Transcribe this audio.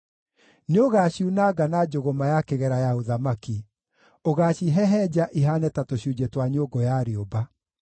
Nĩũgaciunanga na njũgũma ya kĩgera ya ũthamaki; ũgaacihehenja ihaane ta tũcunjĩ twa nyũngũ ya rĩũmba.”